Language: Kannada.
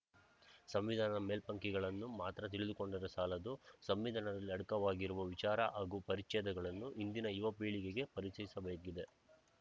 ಸಂವಿಧಾನ ಮೇಲ್ಪಂಕ್ತಿಗಳನ್ನು ಮಾತ್ರ ತಿಳಿದುಕೊಂಡರೆ ಸಾಲದು ಸಂವಿಧಾನದಲ್ಲಿ ಅಡಕವಾಗಿರುವ ವಿಚಾರ ಹಾಗೂ ಪರಿಚ್ಛೇದಗಳನ್ನು ಇಂದಿನ ಯುವ ಪೀಳಿಗೆಗೆ ಪರಿಚಯಿಸಬೇಕಿದೆ